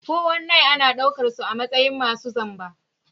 419 ana daukar su a matsayin masu zamba.